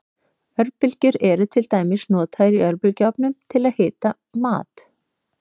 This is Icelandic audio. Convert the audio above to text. Örbylgjur eru til dæmis notaður í örbylgjuofnum til að hita mat.